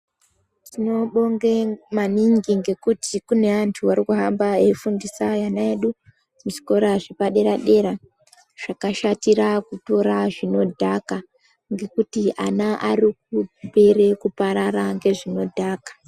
Tinobonge maningi ngekuti kune antu arikuhamba eifundisa ana edu kuzvikora zvepadera-dera zvakashatira kutora zvinodhaka ngekuti ana arikupere kuparara ngezvinodhaka.